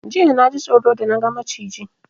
Jiya naji tsoro da na ga Maciji